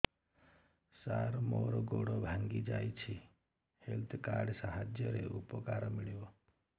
ସାର ମୋର ଗୋଡ଼ ଭାଙ୍ଗି ଯାଇଛି ହେଲ୍ଥ କାର୍ଡ ସାହାଯ୍ୟରେ ଉପକାର ମିଳିବ